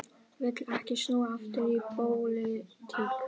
Vill ekki snúa aftur í pólitík